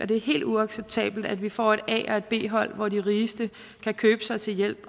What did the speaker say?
det er helt uacceptabelt at vi får et a og et b hold hvor de rigeste kan købe sig til hjælp